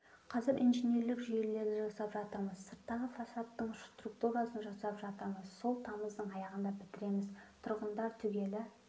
қазір инженерлік жүйелерді жасап жатырмыз сырттағы фасадтың штукатуркасын жасап жатырмыз сол тамыздың аяғында бітіреміз тұрғындар түгелі